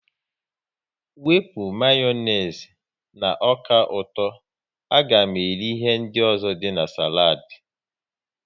Wepụ Mayonezi na ọka ụtọ, a ga m eri ihe ndị ọzọ dị na saladi